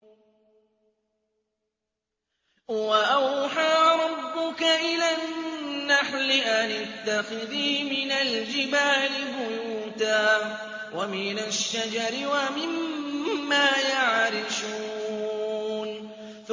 وَأَوْحَىٰ رَبُّكَ إِلَى النَّحْلِ أَنِ اتَّخِذِي مِنَ الْجِبَالِ بُيُوتًا وَمِنَ الشَّجَرِ وَمِمَّا يَعْرِشُونَ